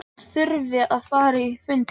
Ég held að hann þurfi að fara á fund í kvöld.